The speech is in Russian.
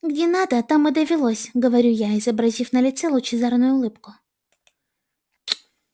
где надо там и довелось говорю я изобразив на лице лучезарную улыбку